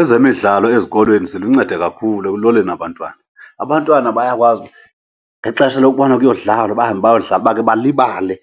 Ezemidlalo ezikolweni ziluncedo kakhulu ekuloleni abantwana. Abantwana bayakwazi ngexesha lokubana kuyodlalwa bahambe bayodlala, bakhe balibale